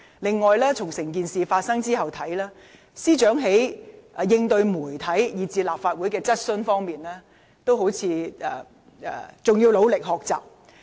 此外，從整件事發生後的情況來看，司長在應對傳媒以至立法會質詢方面，似乎還需努力學習。